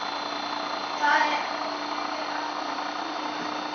Það er óþefur af honum fýla!